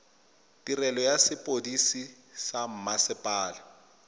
tirelo ya sepodisi sa mmasepala